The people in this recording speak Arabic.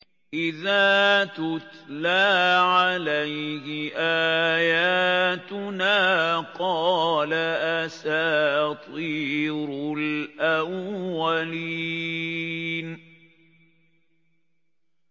إِذَا تُتْلَىٰ عَلَيْهِ آيَاتُنَا قَالَ أَسَاطِيرُ الْأَوَّلِينَ